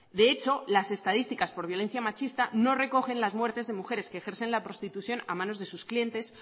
de hecho las estadísticas por violencia machista no recogen las muertes de mujeres que ejercen la prostitución a manos de sus clientes